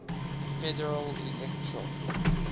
federal electoral